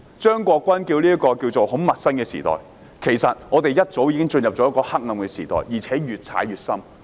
張國鈞議員稱這是一個很陌生的時代，其實我們早已進入黑暗時代，而且越陷越深。